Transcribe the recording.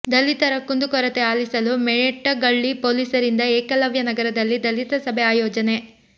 ದಲಿತರ ಕುಂದು ಕೊರತೆ ಆಲಿಸಲು ಮೇಟಗಳ್ಳಿ ಪೊಲೀಸರಿಂದ ಏಕಲವ್ಯನಗರದಲ್ಲಿ ದಲಿತ ಸಭೆ ಆಯೋಜನೆ